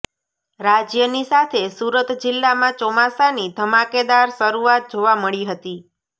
રાજ્યની સાથે સુરત જિલ્લામાં ચોમાસાની ધમાકેદાર શરૂઆત જોવા મળી હતી